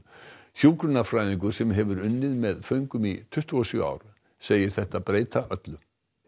hjúkrunarfræðingur sem hefur unnið með föngum í tuttugu og sjö ár segir þetta breyta öllu